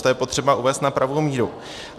Tohle je potřeba uvést na pravou míru.